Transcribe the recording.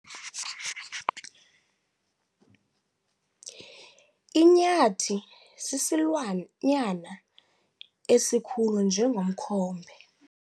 Inyathi sisilwanyana esikhulu njengomkhombe.